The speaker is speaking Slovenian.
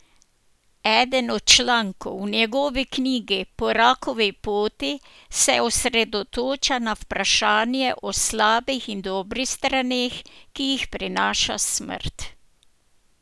Eden od člankov v njegovi knjigi Po rakovi poti se osredotoča na vprašanja o slabih in dobrih straneh, ki jih prinaša smrt.